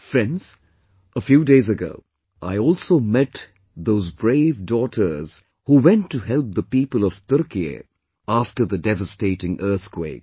Friends, A few days ago, I also met those brave daughters who went to help the people of Turkey after the devastating earthquake